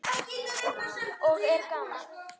Og er gaman?